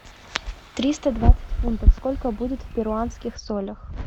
триста двадцать фунтов сколько будет в перуанских солях